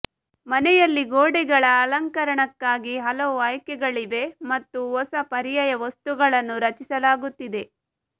ಮನೆಯಲ್ಲಿ ಗೋಡೆಗಳ ಅಲಂಕರಣಕ್ಕಾಗಿ ಹಲವು ಆಯ್ಕೆಗಳಿವೆ ಮತ್ತು ಹೊಸ ಪರ್ಯಾಯ ವಸ್ತುಗಳನ್ನು ರಚಿಸಲಾಗುತ್ತಿದೆ